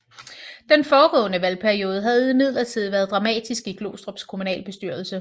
Den foregående valgperiode havde imidlertid været dramatisk i Glostrups kommunalbestyrelse